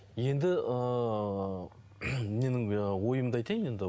енді ыыы менің ойымды айтайын енді